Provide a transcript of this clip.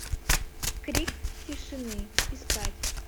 крик тишины искать